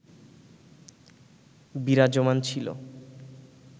বিরাজমান ছিল